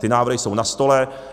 Ty návrhy jsou na stole.